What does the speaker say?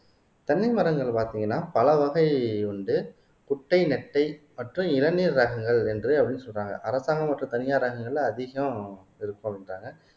தென்னை மரங்கள் பார்த்தீங்கன்னா பல வகை உண்டு குட்டை நெட்டை மற்றும் இளநீர் ரகங்கள் என்று சொல்றாங்க அரசாங்கம் மற்றும் தனியாரகங்கள்ல அதிகம் இருக்கணும்ன்றாங்க